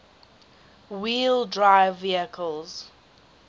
wheel drive vehicles